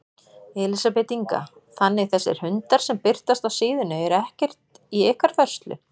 Elísabet Inga: Þannig þessir hundar sem birtast á síðunni eru ekkert í ykkar vörslu?